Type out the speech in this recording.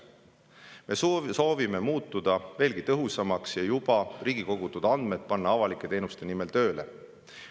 Me soovime muutuda veelgi tõhusamaks ja panna andmed, mida riik on juba kogunud, avalike teenuste nimel tööle.